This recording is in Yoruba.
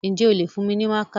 Ǹjẹ́ o lè fún mi ní mákà?